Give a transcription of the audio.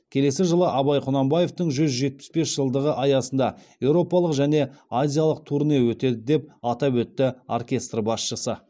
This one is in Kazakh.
келесі жылы абай құнанбаевтың жүз жетпіс бес жылдығы аясында еуропалық және азиялық турне өтеді деп атап өтті оркестр басшысы